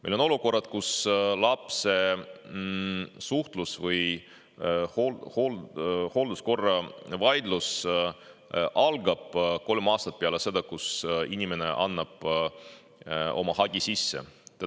Meil on olukorrad, kus lapse suhtlus‑ või hoolduskorra vaidlus algab kolm aastat peale seda, kui inimene oma hagi sisse andis.